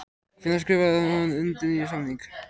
Hvenær skrifaði hann undir nýjan samning?